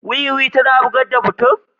Wuwi tana bugar da mutane.